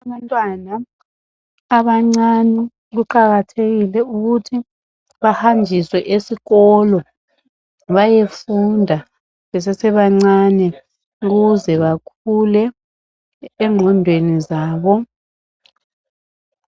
Abantwana abancane kuqakathekile ukuthi bahanjiswe esikolo bayefunda besese bancane ukuze bakhule engqondweni zabo